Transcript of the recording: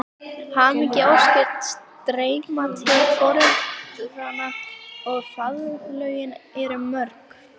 Hamingjuóskir streyma til foreldranna og faðmlögin eru mörg.